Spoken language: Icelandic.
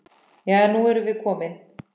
Jæja, nú erum við komin.